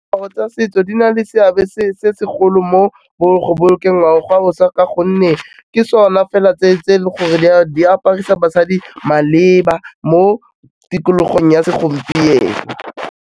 Diaparo tsa setso di na le seabe se segolo mo go bolokeng ngwao boswa ka gonne ke sona fela tse e leng gore di aparisa basadi maleba mo tikologong ya segompieno.